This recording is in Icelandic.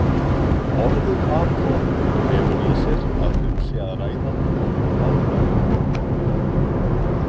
Orðið atóm felur í sér að um sé að ræða óhlaðna ögn.